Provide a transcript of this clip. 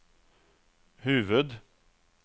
huvud